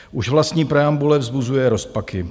Už vlastní preambule vzbuzuje rozpaky.